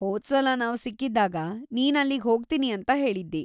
ಹೋದ್ಸಲ ನಾವ್ ಸಿಕ್ಕಿದ್ದಾಗ ನೀನ್‌‌ ಅಲ್ಲಿಗ್ ಹೋಗ್ತೀನಿ ಅಂತ ಹೇಳಿದ್ದಿ.